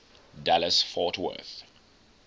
dallas fort worth